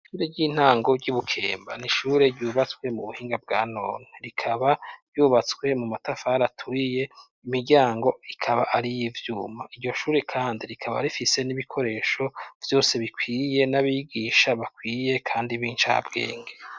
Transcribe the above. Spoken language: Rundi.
Ishure ry'intango ry'i Bukemba n'ishure ryubatswe mu buhinga bwa nona. Rikaba ryubatswe mu matafar aturiye. Imiryango ikaba ar'iy'ivyuma. Iryo shure kandi rikaba rifise n'ibikoresho vyose bikwiye, n'abigisha bakwiye kandi b'incabwenge.